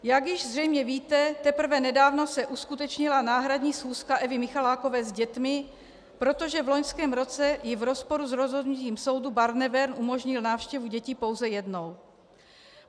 Jak již zřejmě víte, teprve nedávno se uskutečnila náhradní schůzka Evy Michalákové s dětmi, protože v loňském roce jí v rozporu s rozhodnutím soudu Barnevern umožnil návštěvu dětí pouze jednou.